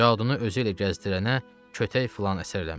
Cadunu özüylə gəzdirənə kötək filan əsər eləmir.